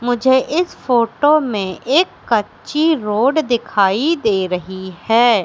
मुझे इस फोटो में एक कच्ची रोड दिखाई दे रही है।